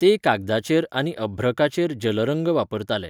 ते कागदाचेर आनी अभ्रकाचेर जलरंग वापरताले.